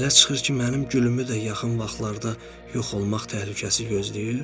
Belə çıxır ki, mənim gülümü də yaxın vaxtlarda yox olmaq təhlükəsi gözləyir?